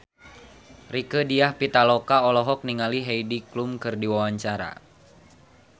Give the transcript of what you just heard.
Rieke Diah Pitaloka olohok ningali Heidi Klum keur diwawancara